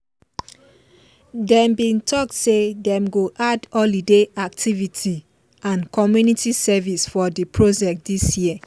them bin talk say them go add holiday activity and community service for the project this year